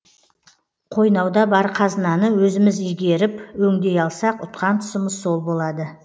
қойнауда бар қазынаны өзіміз игеріп өңдей алсақ ұтқан тұсымыз сол болады